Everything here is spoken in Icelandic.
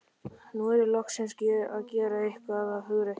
Nú er ég loksins að gera eitthvað af hugrekki.